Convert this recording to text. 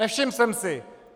Nevšiml jsem si!